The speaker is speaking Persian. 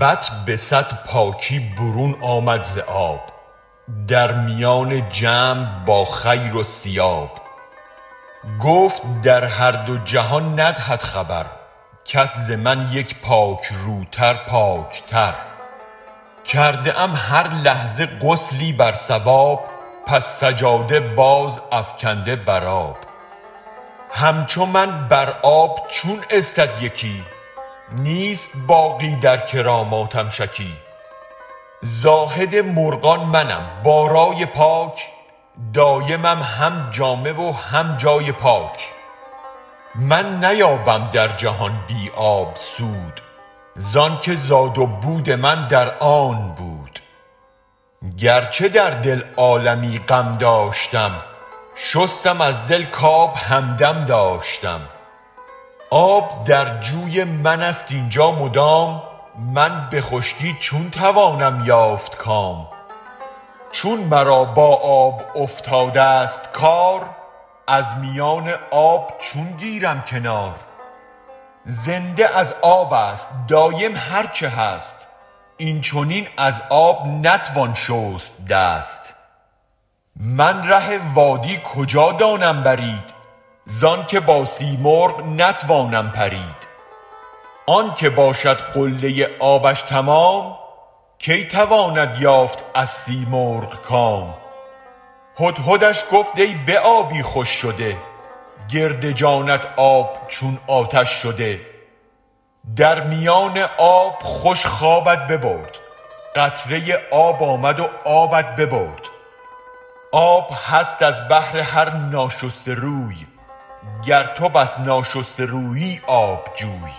بط به صد پاکی برون آمد ز آب در میان جمع با خیرالثیاب گفت در هر دو جهان ندهد خبر کس ز من یک پاک روتر پاک تر کرده ام هر لحظه غسلی بر صواب پس سجاده باز افکنده بر آب همچو من بر آب چون استد یکی نیست باقی در کراماتم شکی زاهد مرغان منم با رأی پاک دایمم هم جامه و هم جای پاک من نیابم در جهان بی آب سود زآن که زاد و بود من در آب بود گرچ در دل عالمی غم داشتم شستم از دل کآب همدم داشتم آب در جوی من ست این جا مدام من به خشکی چون توانم یافت کام چون مرا با آب افتادست کار از میان آب چون گیرم کنار زنده از آب است دایم هرچ هست این چنین از آب نتوان شست دست من ره وادی کجا دانم برید زآنک با سیمرغ نتوانم پرید آنک باشد قله آبش تمام کی تواند یافت از سیمرغ کام هدهدش گفت ای به آبی خوش شده گرد جانت آب چون آتش شده در میان آب خوش خوابت ببرد قطره آب آمد و آبت ببرد آب هست از بهر هر ناشسته روی گر تو بس ناشسته رویی آب جوی